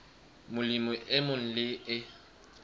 molemi e mong le e